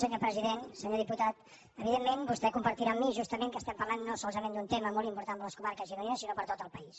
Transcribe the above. senyor diputat evidentment vostè compartirà amb mi justament que estem parlant no solament d’un tema molt important per a les comar·ques gironines sinó per a tot el país